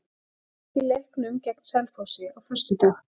Hann lék í leiknum gegn Selfossi á föstudag.